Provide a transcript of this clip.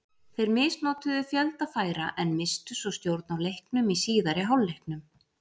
Þeir misnotuðu fjölda færa en misstu svo stjórn á leiknum í síðari hálfleiknum.